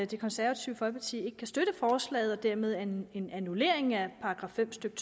det konservative folkeparti ikke kan støtte forslaget og dermed en en annullering af § fem stykke